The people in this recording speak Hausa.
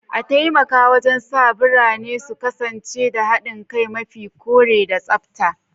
A taimaka wajen sa birane su kasance da haɗin kai, mafi kore, da tsabta.